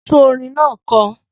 Tún orin náà kọ!